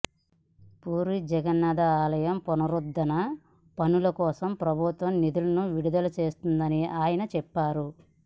పూరీ జగన్నాథాలయం పునరుద్ధరణ పనులకోసం ప్రభుత్వం నిధులను విడుదల చేస్తుందని ఆయన చెప్పారు